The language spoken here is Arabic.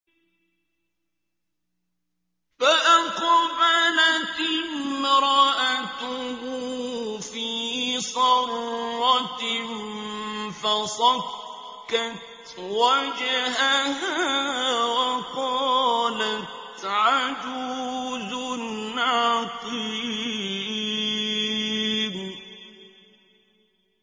فَأَقْبَلَتِ امْرَأَتُهُ فِي صَرَّةٍ فَصَكَّتْ وَجْهَهَا وَقَالَتْ عَجُوزٌ عَقِيمٌ